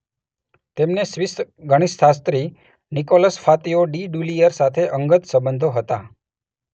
તેમને સ્વિસ ગણિતશાસ્ત્રી Nicolas Fatio de Duillier સાથે અંગત સંબંધો હતા